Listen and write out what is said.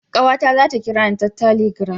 Kawata za ta kirani ta taligram